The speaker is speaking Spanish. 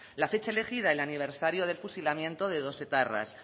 la fecha elegida el aniversario del fusilamiento de dos etarras